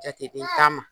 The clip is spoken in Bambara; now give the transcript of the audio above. Jateden ta ma